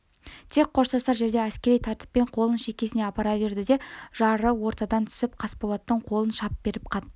тек қоштасар жерде әскери тәртіппен қолын шекесіне апара берді де жары ортадан түсіріп қасболаттың қолын шап беріп қатты